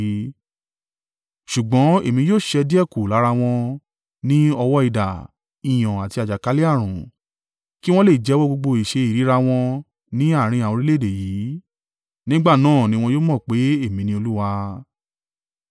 Ṣùgbọ́n èmi yóò ṣẹ́ díẹ̀ kù lára wọn, ní ọwọ́ idà, ìyàn àti àjàkálẹ̀-ààrùn, kí wọn le jẹ́wọ́ gbogbo ìṣe ìríra wọn ní àárín àwọn orílẹ̀-èdè yìí. Nígbà náà ni wọn yóò mọ̀ pé, Èmi ni Olúwa.”